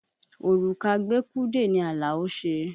Òrùka gbékúdè ni Àlàó ṣe.